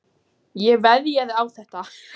Ég veðjaði á þetta.